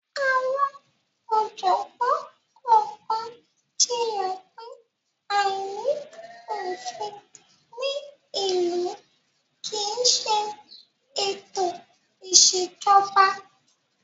Àwọn ọ̀jọ̀gbọ́n kọ̀ọ̀kan jiyàn pé, àìní òfin ní ìlú kì í ṣe ètò ìṣèjọba.